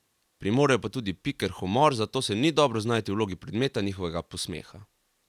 Premorejo pa tudi piker humor, zato se ni dobro znajti v vlogi predmeta njegovega posmeha.